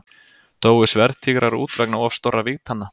Dóu sverðtígrar út vegna of stórra vígtanna?